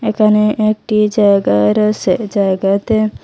এখানে একটি জায়গা রয়েসে জায়গাতে--